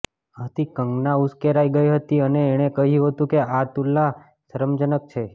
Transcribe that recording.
આથી કંગના ઉશ્કેરાઇ ગઈ હતી અને એણે કહ્યું હતંુ કે આ તુલના શરમજનક છે